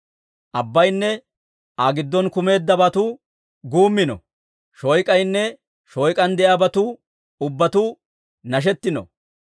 Abbayinne Aa giddon kumeeddabatuu guummino. Shoyk'aynne shooyk'aan de'iyaabatuu ubbatuu nashettino.